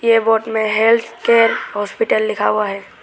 में health care hospital लिखा हुआ है।